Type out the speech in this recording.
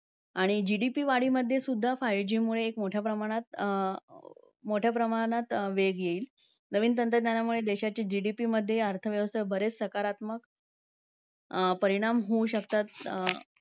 आणि GDP वाढीमध्ये सुद्धा five G मुळे एक मोठ्या प्रमाणात अं मोठ्या प्रमाणात वेग येईल. नवीन तंत्रज्ञानामुळे देशाची GDP मध्ये अर्थव्यवस्था बरेच सकारात्मक परिणाम होऊ शकतात.